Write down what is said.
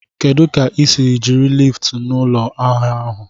Kedụ ka o si jiri liftu n'ụlọ ahịa ahụ?